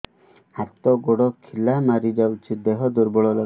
ହାତ ଗୋଡ ଖିଲା ମାରିଯାଉଛି ଦେହ ଦୁର୍ବଳ ଲାଗୁଚି